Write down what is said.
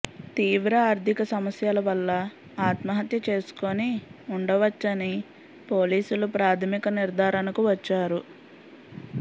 తీవ్ర ఆర్థిక సమస్యల వల్ల ఆత్మహత్య చేసుకుని ఉండవచ్చని పోలీసులు ప్రాథమిక నిర్ధారణకు వచ్చారు